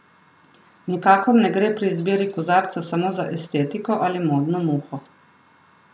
Nikakor ne gre pri izbiri kozarca samo za estetiko ali modno muho.